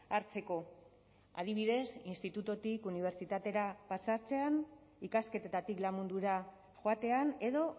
hartzeko adibidez institututik unibertsitatera pasatzean ikasketetatik lan mundura joatean edo